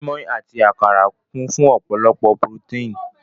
Mọ́í-mọ́í àti àkàrà kún fún ọ̀pọ̀lọpọ̀ purótéìn.